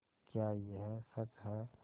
क्या यह सच है